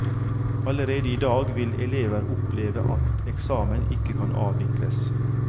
Allerede i dag vil elever oppleve at eksamen ikke kan avvikles.